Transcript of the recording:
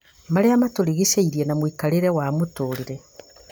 marĩa matũrigicĩirie na mũikarĩre wa mũtũũrĩre